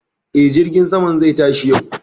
E, jirgin saman zai tashi yau